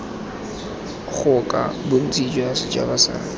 ngoka bontsi jwa setšhaba sa